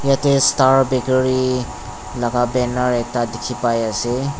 yate star bakery laga banner ekta dikhi pai ase